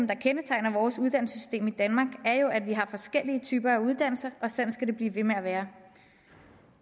der kendetegner vores uddannelsessystem i danmark er jo at vi har forskellige typer af uddannelser og sådan skal det blive ved med at være